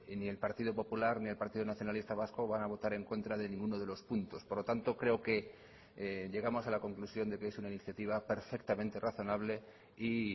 ni el partido popular ni el partido nacionalista vasco van a votar en contra de ninguno de los puntos por lo tanto creo que llegamos a la conclusión de que es una iniciativa perfectamente razonable y